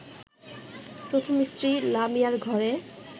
প্রথম স্ত্রী লামিয়ার ঘরে